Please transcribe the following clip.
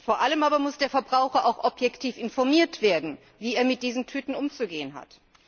Vor allem aber muss der Verbraucher auch objektiv informiert werden, wie er mit diesen Tüten umzugehen hat.